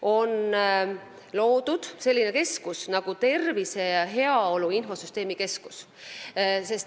On loodud Tervise ja Heaolu Infosüsteemide Keskus.